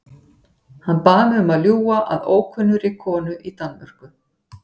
Hann bað mig um að ljúga að ókunnugri konu í Danmörku.